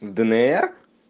днр